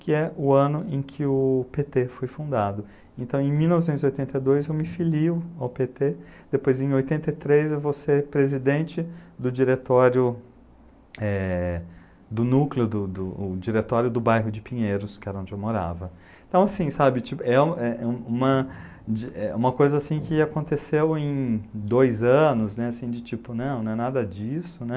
que é o ano em que o pê tê foi fundado então em mil novecentos e oitenta e dois eu me filio ao pê tê depois em oitenta e três eu vou ser presidente do diretório é do núcleo do diretório do bairro de Pinheiros que era onde eu morava então assim sabe é uma coisa assim que aconteceu em dois anos assim de tipo não é nada disso né